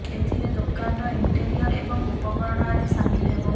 ଏଥିରେ ଦୋକାନର ଇଣ୍ଟେରିୟର୍ ଏବଂ ଉପକରଣ ଆଦି ସାମିଲ୍ ହେବ